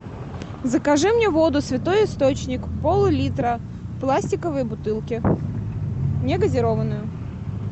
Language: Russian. закажи мне воду святой источник пол литра в пластиковой бутылке не газированную